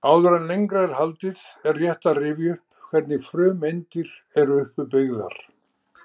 Áður en lengra er haldið er rétt að rifja upp hvernig frumeindir eru uppbyggðar.